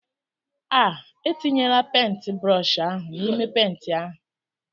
Ah! etinyela pentbrọshi ahụ n'ime penti ahụ!